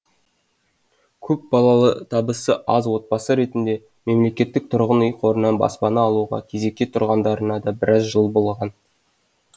көп балалы табысы аз отбасы ретінде мемлекеттік тұрғын үй қорынан баспана алуға кезекке тұрғандарына да біраз жыл болған